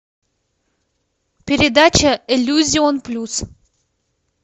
передача иллюзион плюс